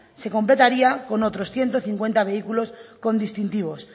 se completaría con otros ciento cincuenta vehículos con distintivos